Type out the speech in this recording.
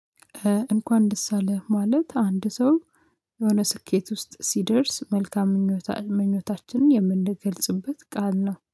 እንኳን ደስ አለህ ማለት አንድ ሰው የሆነ ስኬት ውስጥ ሲደርስ መልካም ምኞታችንን የምንገልጽበት ቃል ነው